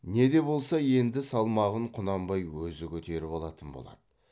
не де болса енді салмағын құнанбай өзі көтеріп алатын болады